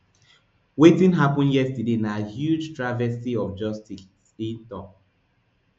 wetin happen yesterday na huge travesty of justice e tok